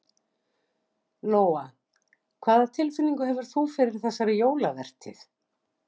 Lóa: Hvað tilfinningu hefur þú fyrir þessari jólavertíð?